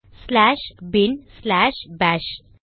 slash bin slash bash